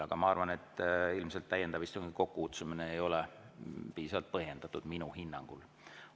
Aga ma arvan, et täiendava istungi kokkukutsumine ilmselt ei ole piisavalt põhjendatud minu hinnangul.